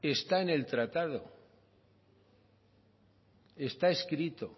está en el tratado está escrito